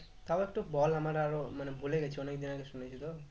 তাও একটু বল আমার আরও মানে ভুলে গেছি অনেকদিন আগে শুনেছি তো